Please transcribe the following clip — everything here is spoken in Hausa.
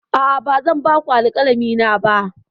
A'a, ba zan ba ku alkalami na ba.